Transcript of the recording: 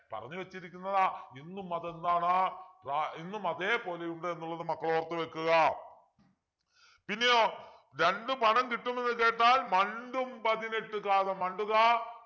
പറഞ്ഞു വച്ചിരിക്കുന്നത് ഇന്നും അത് എന്താണ് ഏർ ഇന്നും അതേപോലെയുണ്ട് എന്നുള്ളത് മക്കൾ ഓർത്തു വെക്കുക പിന്നെയോ രണ്ടു പണം കിട്ടുന്നത് കേട്ടാൽ മണ്ടും പതിനെട്ടു കാതം മണ്ടുക